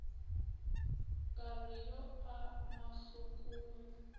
ka re o ya mahlokong